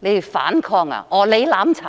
要反抗、要"攬炒"。